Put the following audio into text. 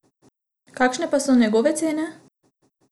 Kakšne pa so njegove cene?